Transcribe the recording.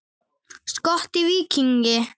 Skot: Víking.